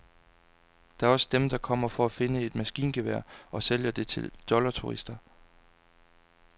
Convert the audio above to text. Der er også dem, der kommer for at finde et maskingevær og sælge det til dollarturister.